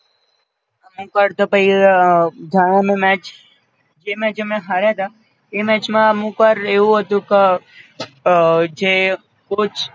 અમુક્વાર તો પઈ જાવાનો match જે match અમે હાર્યા તા એ match માં અમુક્વાર એવું હતું ક અ જે કોચ